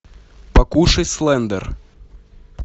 покушай слендер